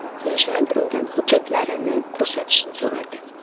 Serjant undan hujjatlarini ko‘rsatishni so‘radi.